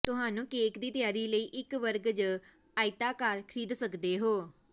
ਤੁਹਾਨੂੰ ਕੇਕ ਦੀ ਤਿਆਰੀ ਲਈ ਇੱਕ ਵਰਗ ਜ ਆਇਤਾਕਾਰ ਖਰੀਦ ਸਕਦੇ ਹੋ